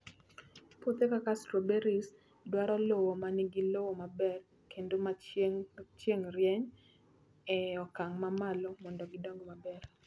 Puothe kaka strawberries, dwaro lowo ma nigi lowo maber kendo ma chieng' rieny e okang' mamalo mondo gidong maber.